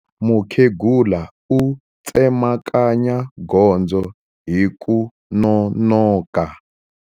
Mukhegula u tsemakanya gondzo hi ku nonoka.